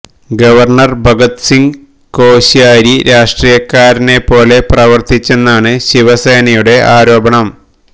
governor Bhagat Singh Koshyari രാഷ്ട്രീയക്കാരനെ പോലെ പ്രവര്ത്തിച്ചെന്നാണ് ശിവസേനയുടെ ആരോപണം